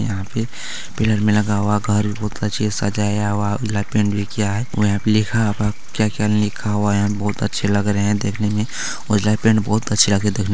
यहां पे पिलर में लगा हुआ घर बहुत अच्छे से सजाया हुआ है ब्लैक पैंट भी किया है और यहां पे लिखा है क्या-क्या ना लिखा हुआ है यहां बहुत अच्छे लग रहे है देखने मे और ब्लैक पेंट बहुत अच्छे लग रहे देखने में।